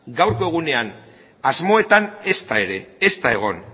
gaurko egunean asmoetan ezta ere ez da egon